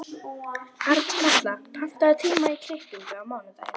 Arnkatla, pantaðu tíma í klippingu á mánudaginn.